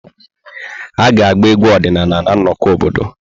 A ga-agba egwu ọdịnala na nnọkọ obodo.